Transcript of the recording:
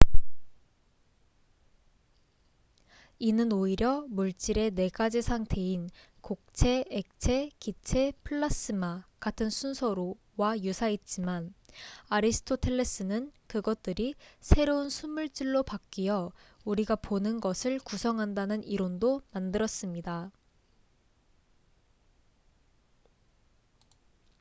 이는 오히려 물질의 4가지 상태인 고체 액체 기체 플라스마같은 순서로와 유사했지만 아리스토텔레스는 그것들이 새로운 순물질로 바뀌어 우리가 보는 것을 구성한다는 이론도 만들었습니다